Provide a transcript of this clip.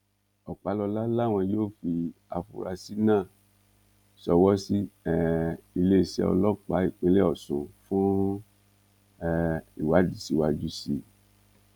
ọpàlọlá làwọn yóò fi àfúrásì náà ṣọwọ sí um iléeṣẹ ọlọpàá ìpínlẹ ọsùn fún um ìwádìí síwájú sí i